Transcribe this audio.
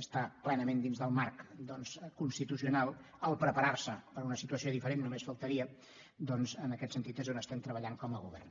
està plenament dins del marc constitucional preparar se per a una situació diferent només faltaria doncs en aquest sentit és on estem treballant com a govern